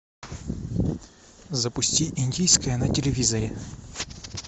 запусти индийское на телевизоре